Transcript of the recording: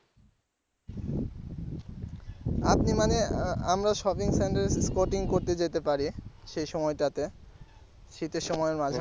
আপনি মানে আহ আমরা shopping centre এ skating করতে যেতে পারি সেই সময়টাতে শীতের সময়ে মাঝামাঝি।